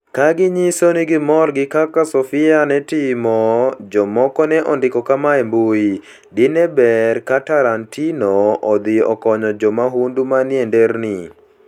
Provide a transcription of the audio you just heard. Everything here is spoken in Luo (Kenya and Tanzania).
Ka ginyiso ni gimor gi kaka Sofia ne timo, jomoko ne ondiko kama e mbui: "Dine ber ka Tarantino odhi okony jomahundu manie nderni".